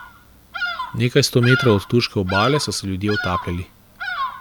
Nekaj sto metrov od turške obale so se ljudje utapljali.